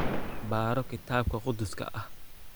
Baro Kitaabka Qudduuska ah